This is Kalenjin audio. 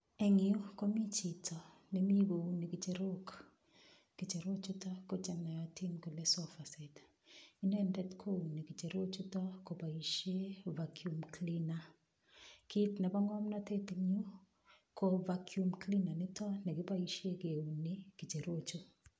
Eng' yu komi chito nemi kouni ng'icherok ng'icherochuto ko chenoyotin kole sofa set inendet kouni ng'icherochuto koboishe vacuum cleaner kiit nebo ng'omnotet eng' yu ko vacuum cleaner nito nekiboishe keuni ng'icherochu